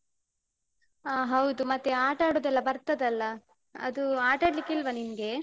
ಅ ಹೌದು, ಮತ್ತೆ ಆಟ ಆಡುದೆಲ್ಲ ಬರ್ತದಲ್ಲ ಅದು ಆಟಾಡ್ಲಿಕ್ಕೆ ಇಲ್ವ ನಿನ್ಗೆ?